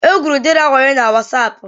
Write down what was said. Egwuru Deraa wayo na wasaapụ.